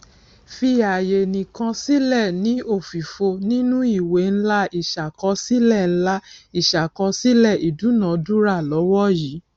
fi àyè ǹkan sílẹ ní òfìfo nínú ìwé ńlá ìṣàkọsílẹ ńlá ìṣàkọsílẹ ìdúnadúrà lọwọ yìí